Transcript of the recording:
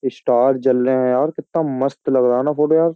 Star जल रहे हैं यार कितना मस्त लग रहा है ना फोटो यार।